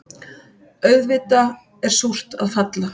Auðvitað er súrt að falla